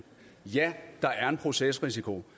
ja der er en procesrisiko